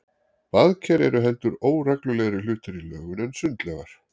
Baðker eru heldur óreglulegri hlutir í lögun en sundlaugar.